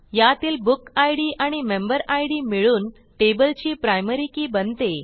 यातील बुकिड आणि मेंबेरिड मिळून टेबलची प्रायमरी के बनते